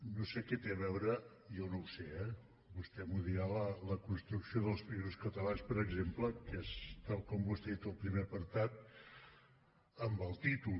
no sé què té a veure jo no ho sé eh vostè m’ho dirà la construcció dels països catalans per exemple que és tal com vostè ha dit el primer apartat amb el títol